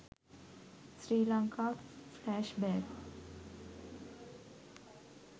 sri lanka flashback